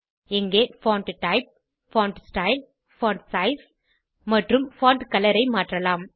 இங்கே font type font style font size மற்றும் font colour ஐ மாற்றலாம்